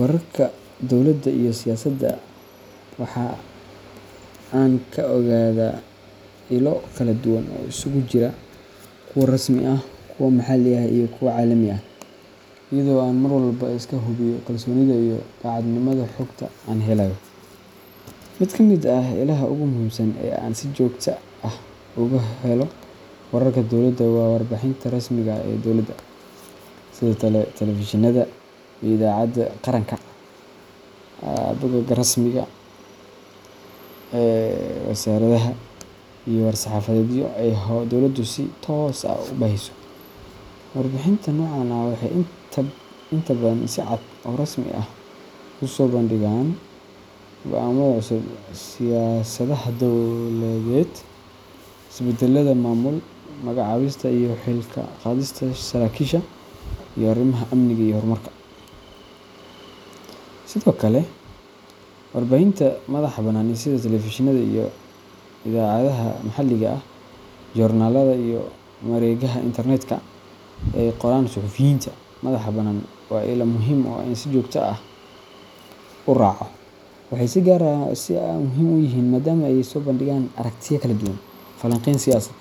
Wararka dowladda iyo siyaasadda waxa aan ka ogaadaa ilo kala duwan oo isugu jira kuwa rasmi ah, kuwa maxalli ah, iyo kuwo caalami ah, iyadoo aan mar walba iska hubiyo kalsoonida iyo daacadnimada xogta aan helayo. Mid ka mid ah ilaha ugu muhiimsan ee aan si joogto ah uga helo wararka dowladda waa warbaahinta rasmiga ah ee dowladda, sida telefishinnada iyo idaacadaha qaranka, bogagga rasmiga ah ee wasaaradaha, iyo war-saxaafadeedyo ay dowladdu si toos ah u baahiso. Warbaahinta noocan ah waxay inta badan si cad oo rasmi ah u soo bandhigaan go’aamada cusub, siyaasadaha dawladeed, isbeddelada maamul, magacaabista iyo xil-ka-qaadista saraakiisha, iyo arrimaha amniga iyo horumarka. Sidoo kale, warbaahinta madaxa-bannaan sida telefishinada iyo idaacadaha maxalliga ah, joornaalada, iyo mareegaha internet-ka ee ay qoraan suxufiyiinta madaxa bannaan waa ilo muhiim ah oo aan si joogto ah u raaco. Waxay si gaar ah muhiim u yihiin maadaama ay soo bandhigaan aragtiyo kala duwan, falanqeyn siyaasadeed,